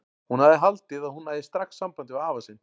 Hún hafði haldið að hún næði strax sambandi við afa sinn.